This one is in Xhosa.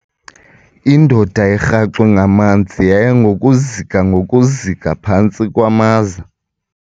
Indoda erhaxwe ngamanzi yaya ngokuzika ngokuzika phantsi kwamaza.